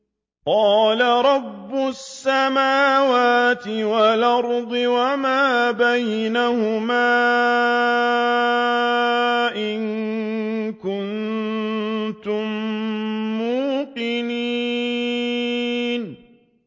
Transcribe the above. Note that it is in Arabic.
قَالَ رَبُّ السَّمَاوَاتِ وَالْأَرْضِ وَمَا بَيْنَهُمَا ۖ إِن كُنتُم مُّوقِنِينَ